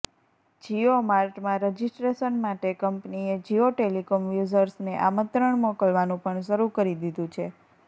જિયો માર્ટમાં રજિસ્ટ્રેશન માટે કંપનીએ જિયો ટેલિકોમ યુઝર્સને આમંત્રણ મોકલવાનું પણ શરૂ કરી દીધું છે